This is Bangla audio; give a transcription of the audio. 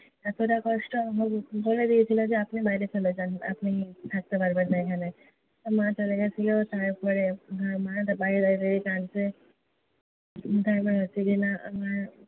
এতোটা কষ্ট আমার যে বলে দিয়েছিলো আপনি বাইরে চলে যান। আপনি থাকতে পারবেন না এখানে। মা চলে গেছিল। তারপরে মা তো বাইরে দাঁড়িয়ে দাঁড়িয়ে কাঁদছে। তারপরে রাত্রিবেলা আমার,